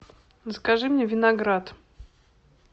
закажи мне виноград